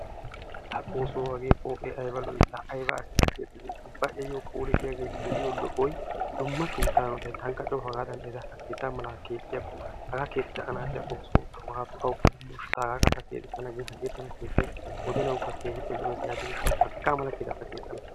Laa xoosso hagee pooqee ayba lo'ii! Ayba asi A keexxidee, ubba ayyo phoole diyagee lo'iyo lo'oy dumma keettaa hanotay, tankka coo haggaadan ha keettaa malaa keexxiyakko, hagaa keexxida anaaxiya xoosso awuppe demmooshsha? Taagaakka ta keexissana gin hagee tana keettay wodenawukka keehippe lo'ees. Yaatiyo gishshawu haga mala keettaa keexxana.